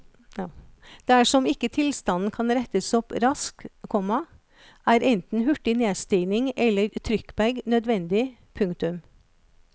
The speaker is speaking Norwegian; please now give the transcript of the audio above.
Dersom ikke tilstanden kan rettes opp raskt, komma er enten hurtig nedstigning eller trykkbag nødvendig. punktum